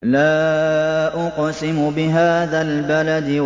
لَا أُقْسِمُ بِهَٰذَا الْبَلَدِ